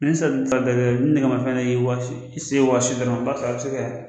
Ni ni nɛgɛmafɛn dɔ y'i waasi i sen wasi dɔrɔn i b'a sɔrɔ a bi se kɛ.